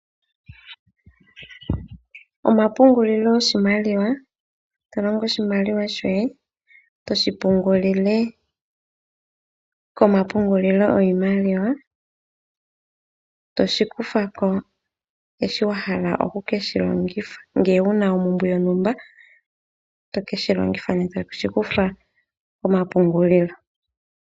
Omapungulilo goshimaliwa, tolongo oshimaliwa shoye etoshi pungulile komapungulilo giimaliw. Oto keshi kuthako una wahala oku keshilongitha nenge wuna ompumbwe yontumba toke shi longitha toshi kutha komapungulilo.